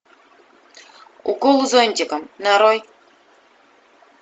укол зонтиком нарой